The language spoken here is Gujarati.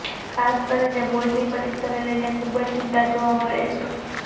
ખાસ કરીને બોર્ડની પરીક્ષાને લઈને ખૂબ જ ચિંતા જોવા મળે છે